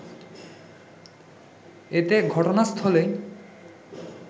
এতে ঘটনাস্থলেই